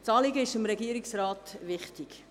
Das Anliegen ist dem Regierungsrat wichtig.